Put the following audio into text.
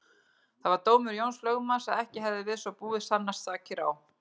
Það var dómur Jóns lögmanns að ekki hefðu við svo búið sannast sakir á